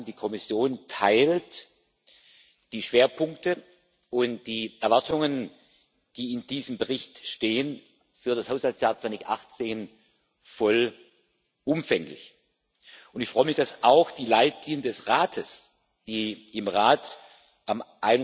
Ich kann sagen, die Kommission teilt die Schwerpunkte und die Erwartungen, die in diesem Bericht für das Haushaltsjahr 2018 stehen, vollumfänglich, und ich freue mich auch, dass die Leitlinien des Rates, die im Rat am